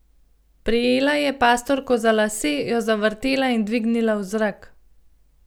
Prijela je pastorko za lase, jo zavrtela in dvignila v zrak.